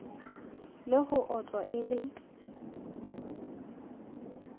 le ho otlwa e le